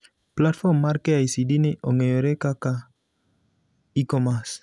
Platform mar KICD ni ong'eyore kaka e-commerce.